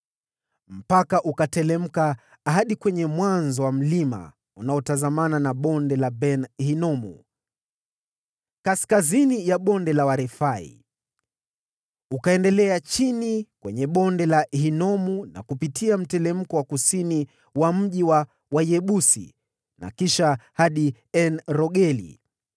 Mpaka ukateremka hadi shefela inayotazamana na Bonde la Ben-Hinomu, kaskazini mwa Bonde la Refaimu. Ukaendelea chini kwenye Bonde la Hinomu sambamba na mteremko wa kusini mwa mji mkubwa wa Wayebusi na kisha hadi En-Rogeli.